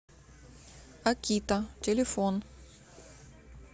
акита телефон